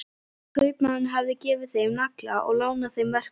Kaupmaðurinn hafði gefið þeim nagla og lánað þeim verkfæri.